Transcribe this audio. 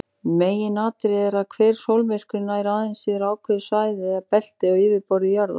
Meginatriðið er að hver sólmyrkvi nær aðeins yfir ákveðið svæði eða belti á yfirborði jarðar.